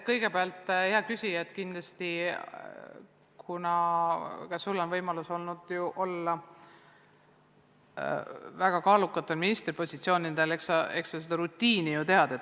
Kõigepealt, hea küsija, kuna ka sul on olnud võimalus olla väga kaalukatel ministripositsioonidel, siis eks sa seda rutiini tead isegi.